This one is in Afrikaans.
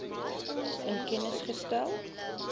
in kennis gestel